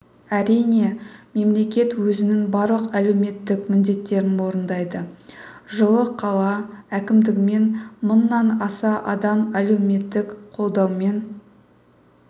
әрине мемлекет өзінің барлық әлеуметтік міндеттерін орындайды жылы қала әкімдігімен мыңнан аса адам әлеуметтік қолдаумен